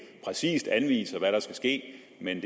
præcist anviser hvad der skal ske men